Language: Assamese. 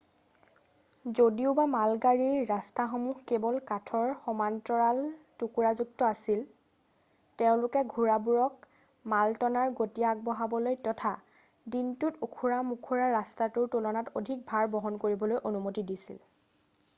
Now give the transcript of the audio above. যদিওবা মালগাড়ীৰ ৰাস্তাসমূহ কেৱল কাঠৰ সমান্তৰাল টুকুৰাযুক্ত আছিল তেওঁলোকে ঘোঁৰাবোৰক মালটনাৰ গতি বঢ়াবলৈ তথা দিনটোত ওখৰা মখৰা ৰাস্তাটোৰ তুলনাত অধিক ভাৰ বহন কৰিবলৈ অনুমতি দিছিল